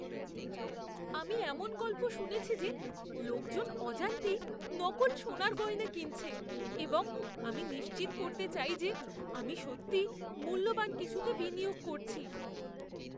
আমি এমন গল্প শুনেছি যে লোকজন অজান্তেই নকল সোনার গয়না কিনছে এবং আমি নিশ্চিত করতে চাই যে আমি সত্যিই মূল্যবান কিছুতে বিনিয়োগ করছি।